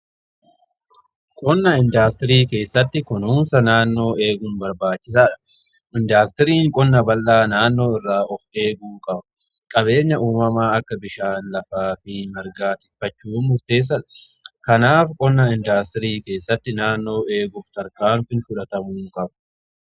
Qonna indaastirii keessatti kunuunsa naannoo eeguun barbaachisaadha, Indaastiriin qonna bal'aa naannoo irraa of eeguu qaba. Qabeenya uumamaa akka bishaan lafaa fi margaa ittiffachuun murteessadha. Kanaaf qonna indaastirii keessatti naannoo eeguuf tarkaanfiin fudhatamuu qaba.